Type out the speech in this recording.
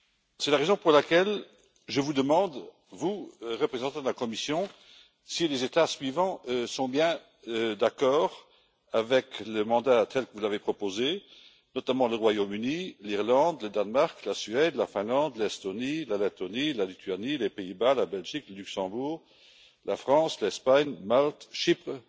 C'est la raison pour laquelle je vous demande à vous, représentant de la Commission, si les États suivants sont bien d'accord avec le mandat tel que vous l'avez proposé, notamment le Royaume Uni, l'Irlande, le Danemark, la Suède, la Finlande, l'Estonie, la Lettonie, la Lituanie, les Pays Bas, la Belgique, le Luxembourg, la France, l'Espagne, Malte, Chypre,